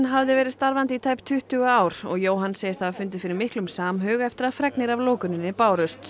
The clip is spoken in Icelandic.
hafði verið starfandi í tæp tuttugu ár og Jóhann segist hafa fundið fyrir miklum samhug eftir að fregnir af lokuninni bárust